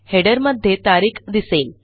Headerमध्ये तारीख दिसेल